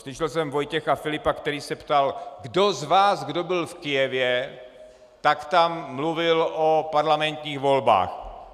Slyšel jsem Vojtěcha Filipa, který se ptal: "Kdo z vás, kdo byl v Kyjevě, tak tam mluvil o parlamentních volbách?"